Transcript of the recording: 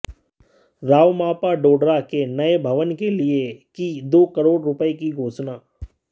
रावमापा डोडरा के नए भवन के लिए की दो करोड़ रुपये की घोषणा